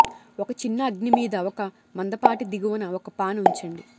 ఒక చిన్న అగ్ని మీద ఒక మందపాటి దిగువన ఒక పాన్ ఉంచండి